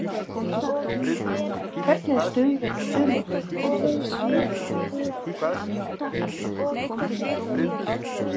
Hvernig er stuðningurinn við liðið?